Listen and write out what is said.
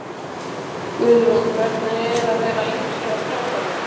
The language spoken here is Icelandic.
Guðrún: Hvernig er að vera yngstur af strákunum?